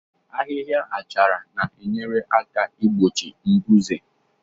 Ahịhịa achara na enyere aka ị gbochi mbuze